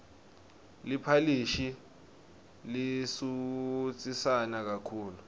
liphalishi lisutsisana kakhulu